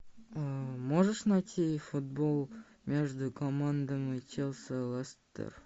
можешь найти футбол между командами челси лестер